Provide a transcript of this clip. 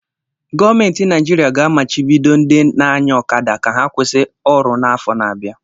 Gọọmenti Naịjirịa ga-amachibido ndị na-anya ọkada ka ha kwụsị ọrụ n'afọ na-abịa.